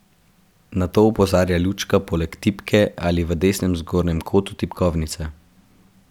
Na to opozarja lučka poleg tipke ali v desnem zgornjem kotu tipkovnice.